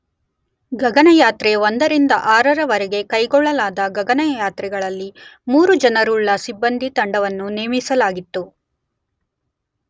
ಗಗನಯಾತ್ರೆ 1 ರಿಂದ 6 ರ ವರೆಗೆ ಕೈಗೊಳ್ಳಲಾದ ಗಗನಯಾತ್ರೆಗಳಲ್ಲಿ ಮೂರು ಜನರುಳ್ಳ ಸಿಬ್ಬಂದಿ ತಂಡವನ್ನು ನೇಮಿಸಲಾಗಿತ್ತು.